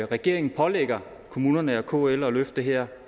regeringen pålægger kommunerne og kl at løfte det her